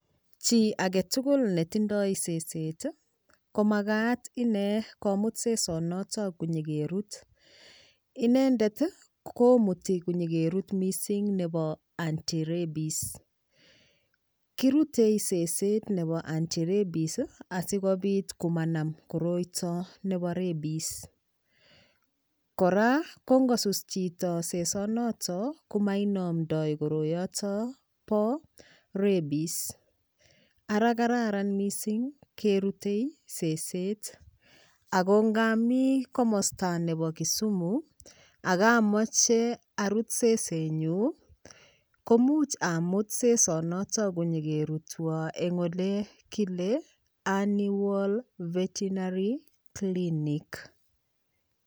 Chi aketugul netindoi seset komakat ine komut sesonoto konyikerut inendet komutin konyikerut mising nebo anti rabis kirutei seset nebo anti rabies asikopit komanam koroito nebo rabies kora kongosus chito sesonoto komainomtoi koroyoto bo rabies ara kararan mising kerutei seset ako ngami komosta nebo Kisumu akamache sesenyu komuch amut sesonoto konyikerutwo eng ole kole aniworld veterinary clinic